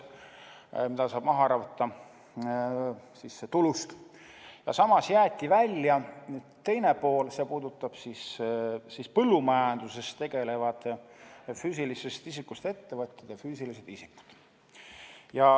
Samas jäeti välja teine pool, mis puudutab põllumajanduses tegutsevaid füüsilisest isikust ettevõtjaid ja füüsilisi isikuid.